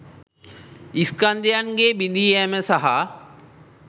ස්කන්ධයන්ගේ බිඳී යෑම සහ